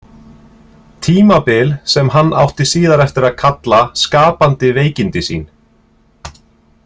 Tímabil sem hann átti síðar eftir að kalla skapandi veikindi sín.